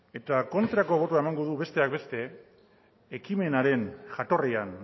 eta kontrako botoa emango du besteak beste ekimenaren jatorrian